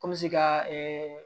Kɔmi se ka